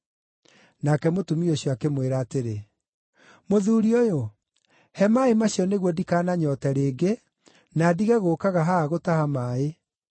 Nake mũtumia ũcio akĩmwĩra atĩrĩ, “Mũthuuri ũyũ, he maaĩ macio nĩguo ndikananyoote rĩngĩ, na ndige gũũkaga haha gũtaha maaĩ.”